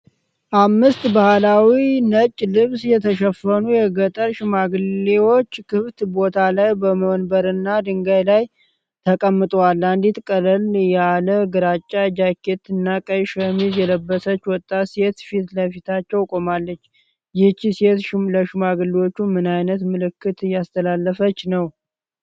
አምስት በባህላዊ ነጭ ልብስ የተሸፈኑ የገጠር ሽማግሌዎች ክፍት ቦታ ላይ በወንበርና ድንጋይ ላይ ተቀምጠዋል፣ አንዲት ቀለል ያለ ግራጫ ጃኬትና ቀይ ሸሚዝ የለበሰች ወጣት ሴት ፊት ለፊታቸው ቆማለች። ይህች ሴት ለሽማግሌዎቹ ምን ዓይነት መልእክት እያስተላለፈች ነው?